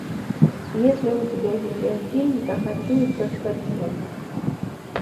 есть ли у тебя видеофильм захочу и соскочу